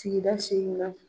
Sigida na